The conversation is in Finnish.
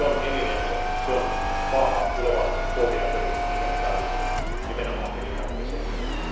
Se on elinehto ja vahva tulevaisuuden pohja ja perusta, minkä me tarvitsemme nimenomaan elintarvikesektorilla.